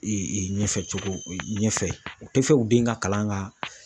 ɲɛfɛ cogo ɲɛfɛ u tɛ fɛ u den ka kalan ka